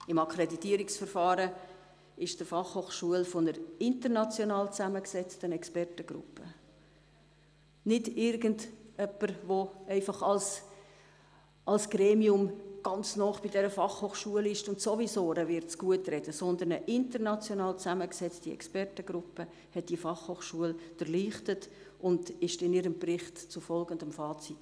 Im Akkreditierungsverfahren wurde die BFH von einer international zusammengesetzten Expertengruppe, nicht von einem Gremium, welches der BFH sowieso nahesteht, sondern eben von einer international zusammengesetzten Expertengruppe durchleuchtet, und diese kam in einem Bericht zu folgendem Fazit: